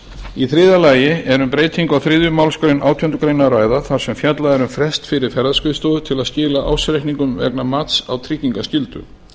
í þriðja lagi er um breytingu á þriðju málsgrein átjándu grein að ræða þar sem fjallað er um frest fyrir ferðaskrifstofu til að skila ársreikningum vegna mats á tryggingaskyldu